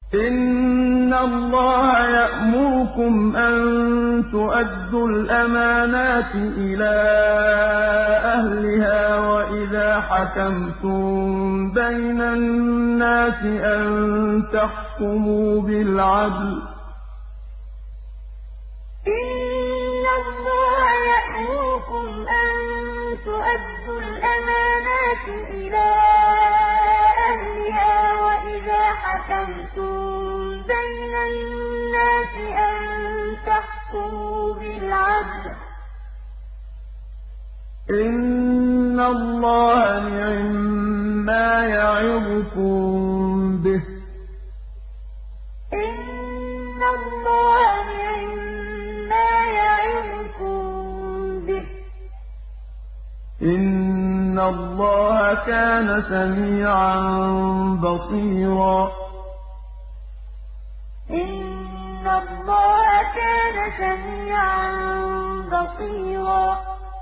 ۞ إِنَّ اللَّهَ يَأْمُرُكُمْ أَن تُؤَدُّوا الْأَمَانَاتِ إِلَىٰ أَهْلِهَا وَإِذَا حَكَمْتُم بَيْنَ النَّاسِ أَن تَحْكُمُوا بِالْعَدْلِ ۚ إِنَّ اللَّهَ نِعِمَّا يَعِظُكُم بِهِ ۗ إِنَّ اللَّهَ كَانَ سَمِيعًا بَصِيرًا ۞ إِنَّ اللَّهَ يَأْمُرُكُمْ أَن تُؤَدُّوا الْأَمَانَاتِ إِلَىٰ أَهْلِهَا وَإِذَا حَكَمْتُم بَيْنَ النَّاسِ أَن تَحْكُمُوا بِالْعَدْلِ ۚ إِنَّ اللَّهَ نِعِمَّا يَعِظُكُم بِهِ ۗ إِنَّ اللَّهَ كَانَ سَمِيعًا بَصِيرًا